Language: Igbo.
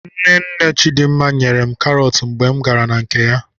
Nne nne Chidimma nyere m karọt mgbe m gara na nke ya.